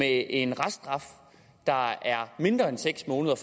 en reststraf der er mindre end seks måneder